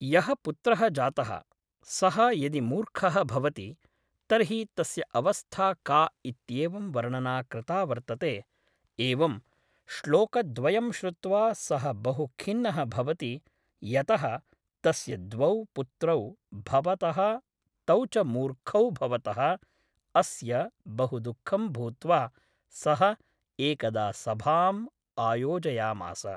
यः पुत्रः जातः सः यदि मूर्खः भवति तर्हि तस्य अवस्था का इत्येवं वर्णना कृता वर्तते एवं श्लोकद्वयं श्रुत्वा सः बहुखिन्नः भवति यतः तस्य द्वौ पुत्रौ भवतः तौ च मूर्खौ भवतः अस्य बहु दुःखं भूत्वा सः एकदा सभाम् आयोजयामास